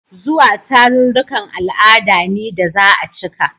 Zuwa tarurrukan al'ada ne da za a cika.